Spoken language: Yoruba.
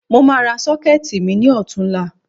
Mo máa ra Ṣọ́kẹ́ẹ̀tì mi ní ọ̀tunla